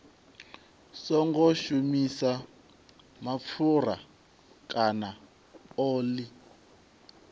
songo shumisa mapfura kana oḽi